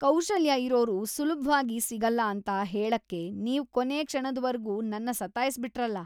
ಕೌಶಲ್ಯ ಇರೋರು ಸುಲ್ಭವಾಗ್‌ ಸಿಗಲ್ಲ ಅಂತ ಹೇಳಕ್ಕೆ ನೀವ್‌ ಕೊನೇ ಕ್ಷಣದ್ವರ್ಗೂ ನನ್ನ ಸತಾಯ್ಸ್‌ಬಿಟ್ರಲ್ಲ.